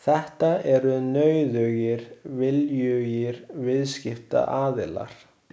Þetta eru nauðugir viljugir viðskiptaaðilar.